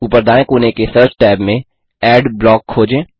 ऊपर दाएँ कोने के सर्च टैब में एडब्लॉक खोजें